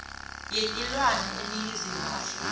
yetilwane eningizimu afrika